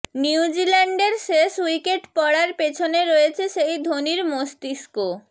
নিউজিল্যান্ডের শেষ উইকেট পড়ার পিছনে রয়েছে সেই ধোনির মস্তিষ্ক